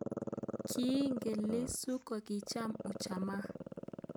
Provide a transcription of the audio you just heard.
Kiingen Lissu kochitab ujamaa